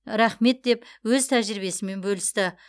рахмет деп өз тәжірибесімен бөлісті